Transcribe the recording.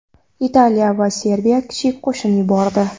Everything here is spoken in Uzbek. Italiya va Serbiya kichik qo‘shin yubordi.